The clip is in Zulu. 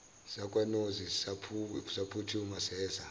sakwanozi saphuthuma seza